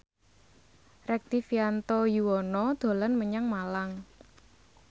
Rektivianto Yoewono dolan menyang Malang